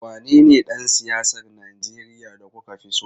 Wanene dan siyasar Najeriya da kuka fi so?